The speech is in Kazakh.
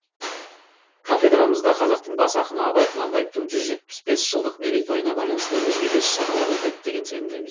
кафедрамызда қазақтың бас ақыны абай құнанбаевтың жүз жетпіс бес жылдық мерейтойына байланысты өзге де іс шаралар өтеді деген сенімде